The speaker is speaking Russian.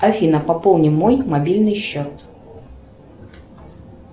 афина пополни мой мобильный счет